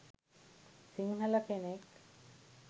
සිංහල කෙනෙක්.